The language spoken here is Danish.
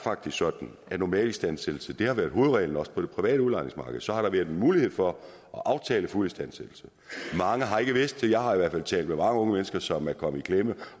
sådan at normalistandsættelse har været hovedreglen også på det private udlejningsmarked så har der været en mulighed for at aftale fuld istandsættelse mange har ikke vidst det jeg har i hvert fald talt med mange unge mennesker som er kommet i klemme